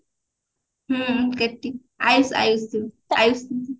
ହୁଁ କେଟି ଆୟୁଷ ଆୟୁଷ ଯଉ ଆୟୁଷ